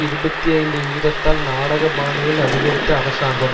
இருபத்தி ஐந்து வீதத்தால் நாடகபாணியில் அதிகரித்த அரசாங்கம்